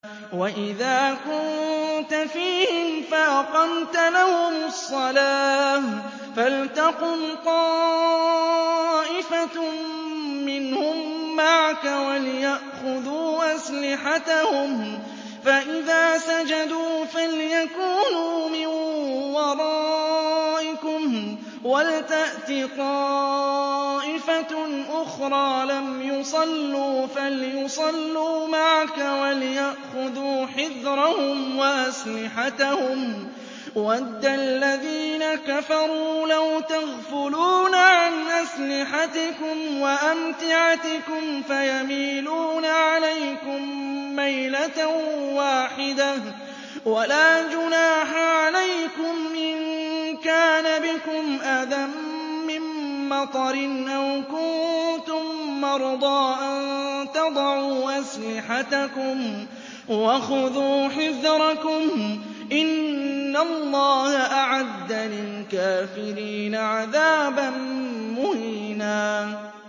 وَإِذَا كُنتَ فِيهِمْ فَأَقَمْتَ لَهُمُ الصَّلَاةَ فَلْتَقُمْ طَائِفَةٌ مِّنْهُم مَّعَكَ وَلْيَأْخُذُوا أَسْلِحَتَهُمْ فَإِذَا سَجَدُوا فَلْيَكُونُوا مِن وَرَائِكُمْ وَلْتَأْتِ طَائِفَةٌ أُخْرَىٰ لَمْ يُصَلُّوا فَلْيُصَلُّوا مَعَكَ وَلْيَأْخُذُوا حِذْرَهُمْ وَأَسْلِحَتَهُمْ ۗ وَدَّ الَّذِينَ كَفَرُوا لَوْ تَغْفُلُونَ عَنْ أَسْلِحَتِكُمْ وَأَمْتِعَتِكُمْ فَيَمِيلُونَ عَلَيْكُم مَّيْلَةً وَاحِدَةً ۚ وَلَا جُنَاحَ عَلَيْكُمْ إِن كَانَ بِكُمْ أَذًى مِّن مَّطَرٍ أَوْ كُنتُم مَّرْضَىٰ أَن تَضَعُوا أَسْلِحَتَكُمْ ۖ وَخُذُوا حِذْرَكُمْ ۗ إِنَّ اللَّهَ أَعَدَّ لِلْكَافِرِينَ عَذَابًا مُّهِينًا